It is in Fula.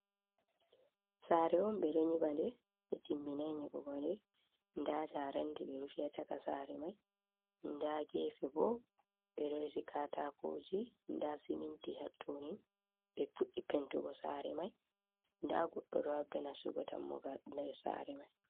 Saare on ɓe ɗo nyiba nde, Ɓe timminay nyiɓugo nde, ndaa njareendi ɓe rufi ha caka saare may ndaa "geefe" bo ɓe ɗo resi kataakooji. Ndaa siminti hatto nin. Ɓe fuɗɗi pentugo saare may, ndaa goddo do haɓda nastugo dammugal nder saare may.